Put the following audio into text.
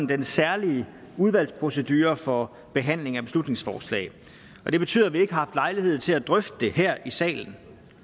den særlige udvalgsprocedure for behandling af beslutningsforslag og det betyder at vi ikke har haft lejlighed til at drøfte det her i salen